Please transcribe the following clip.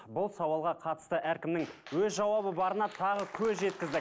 бұл сауалға қатысты әркімнің өз жауабы барына тағы көз жеткіздік